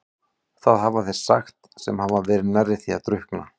Það hafa þeir sagt sem hafa verið nærri því að drukkna.